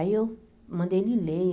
Aí eu mandei ele ler.